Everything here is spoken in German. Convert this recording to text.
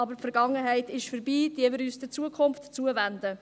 Aber die Vergangenheit ist vorbei, wenden wir uns der Zukunft zu.